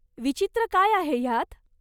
विचित्र काय आहे ह्यात?